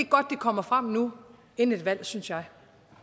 kommer frem nu inden et valg synes jeg